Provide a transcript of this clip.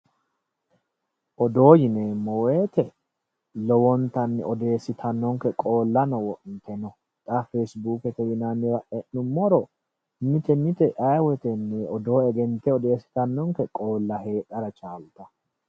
Odoo yineemmo woyte lowontanni odeessittanonke qoolano wo'mitino, xa Fesibukete yinnanniwa e'nuummoro mite mite ayee woytenni odoo egente odeessittanonke heedhara chaalittano.